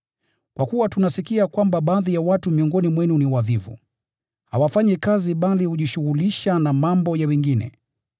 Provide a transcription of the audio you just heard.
Kwa kuwa tunasikia kwamba baadhi ya watu miongoni mwenu ni wavivu. Hawafanyi kazi bali hujishughulisha na mambo ya wengine.